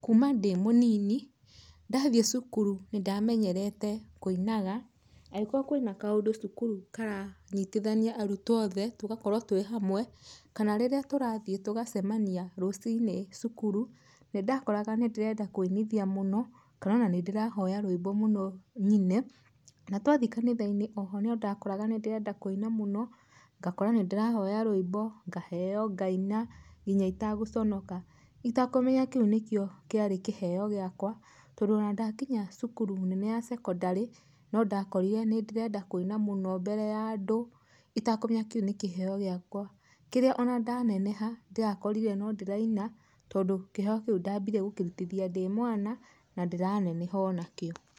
Kuuma ndĩ mũnini, ndathiĩ cukuru nĩndamenyerete kũinaga, agĩkorwo kwĩna kaũndũ cukuru karanyitithania arutwo othe tũgakorwo twĩ hamwe, kana rĩrĩa tũrathiĩ tũgacemania rũcinĩ cukuru, nĩndakoraga nĩndĩrenda kũinithia mũno, kana ona nĩndĩrahoya rwĩmbo mũno nyine. Na twathiĩ kanitha-inĩ oho nondakoraga nĩndĩrenda kũina mũno, ngakora nĩndĩrahoya rwĩmbo, ngaheywo ngaina nginya itagũconoka, itakũmenya kĩu nĩkĩo kĩarĩ kĩheyo gĩakwa, tondũ ona ndakinya cukuru nene ya secondary , no ndakorire nĩndĩrenda kũina mũno mbere ya andũ itakũmenya kĩu nĩ kĩheyo gĩakwa, kĩrĩa ona ndaneneha ndĩrakorire nondĩraina, tondũ kĩheyo kĩu ndambire gũkĩrutithia ndĩ mwana na ndĩraneneha onakĩo.